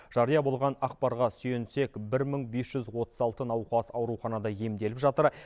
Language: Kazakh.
жария болған ақпарға сүйенсек бір мың бес жүз отыз алты науқас ауруханада емделіп жатыр